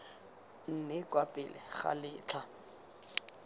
nne kwa pele ga letlha